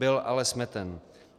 Byl ale smeten.